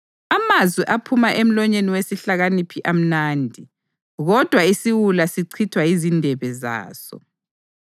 Amazwi aphuma emlonyeni wesihlakaniphi amnandi, kodwa isiwula sichithwa yizindebe zaso.